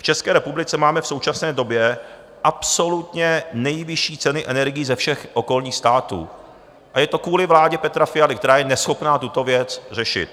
V České republice máme v současné době absolutně nejvyšší ceny energií ze všech okolních států a je to kvůli vládě Petra Fialy, která je neschopná tuto věc řešit.